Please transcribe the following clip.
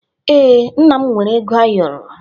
Ee, nna m nwere ego ayoro